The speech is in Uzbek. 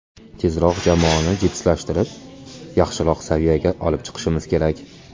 Tezroq jamoani jipslashtirib, yaxshiroq saviyaga chiqib olishimiz kerak.